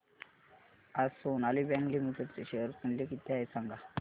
आज Sonali bank limited चे share मूल्य किती आहे सांगा